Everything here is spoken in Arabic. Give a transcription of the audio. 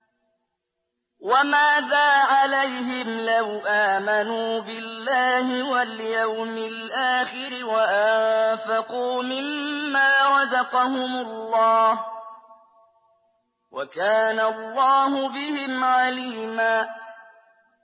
وَمَاذَا عَلَيْهِمْ لَوْ آمَنُوا بِاللَّهِ وَالْيَوْمِ الْآخِرِ وَأَنفَقُوا مِمَّا رَزَقَهُمُ اللَّهُ ۚ وَكَانَ اللَّهُ بِهِمْ عَلِيمًا